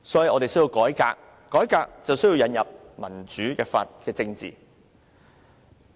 我們需要改革，要改革便需要引入民主政治。